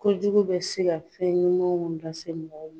Kojugu bɛ se ka fɛn ɲumanw lase mɔgɔw ma.